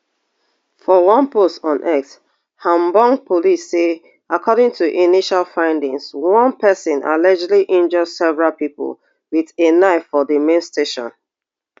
for one post on x hamburg police say according to initial findings one pesin allegedly injure several pipo wit a knife for di main station